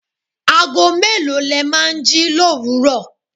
Ago mélòó le máa ń jí l'òwúrò?